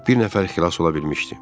Bir nəfər xilas ola bilmişdi.